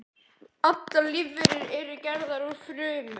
Allar lífverur eru gerðar úr frumum.